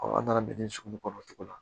an nana bɛn ni sugu kɔnɔ cogo min na